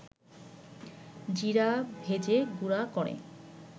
জিরা ভেজে গুড়া করে